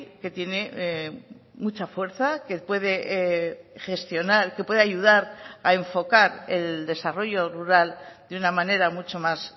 que tiene mucha fuerza que puede gestionar que puede ayudar a enfocar el desarrollo rural de una manera mucho más